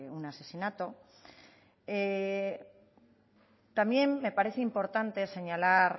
un asesinato también me parece importante señalar